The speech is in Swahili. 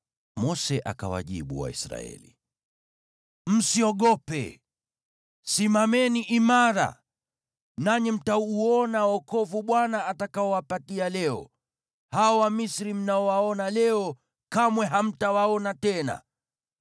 Mose akawajibu Waisraeli, “Msiogope. Simameni imara, nanyi mtauona wokovu Bwana atakaowapatia leo. Hao Wamisri mnaowaona leo kamwe hamtawaona tena.